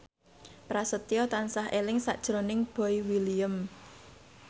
Prasetyo tansah eling sakjroning Boy William